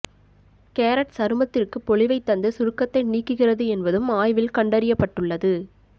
carrot சருமத்திற்கு பொலிவைத் தந்து சுருக்கத்தை நீக்குகிறது என்பதும் ஆய்வில் கண்டறியப்பட்டுள்ளது